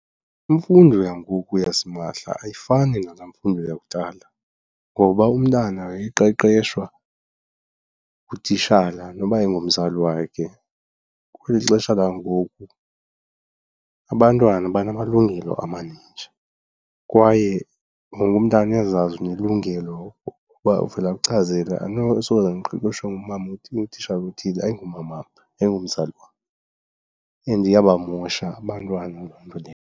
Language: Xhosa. Imfundo yangoku yasimahla ayifani nalaa mfundo yakudala, ngoba umntana wayeqeqeshwa ngutitshala noba ayingomzali wakhe. Kweli xesha langoku abantwana banamalungelo amaninji kwaye wonke umntana uyazazi unelungelo uba uvele akuchazele andinosoze ndiqeqeshwe ngumama othile utitshala othile ayingomamam, ayingomzali wam, and iyabamosha abantwana loo nto leyo.